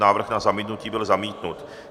Návrh na zamítnutí byl zamítnut.